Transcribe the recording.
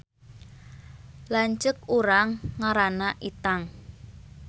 Lanceuk urang ngaranna Itang